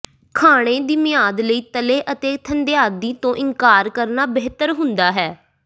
ਖਾਣੇ ਦੀ ਮਿਆਦ ਲਈ ਤਲੇ ਅਤੇ ਥੰਧਿਆਈ ਤੋਂ ਇਨਕਾਰ ਕਰਨਾ ਬਿਹਤਰ ਹੁੰਦਾ ਹੈ